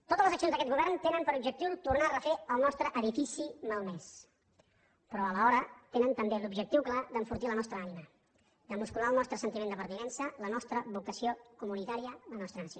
totes les accions d’aquest govern tenen per objectiu tornar a refer el nostre edifici malmès però alhora tenen també l’objectiu clar d’enfortir la nostra ànima de muscular el nostre sentiment de pertinença la nostra vocació comunitària la nostra nació